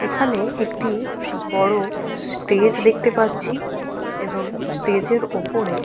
এখানে একটি বড় স্টেজ দেখতে পাচ্ছি এবং স্টেজ এর ওপরে।